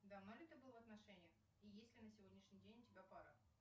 давно ли ты был в отношениях и есть ли на сегодняшний день у тебя пара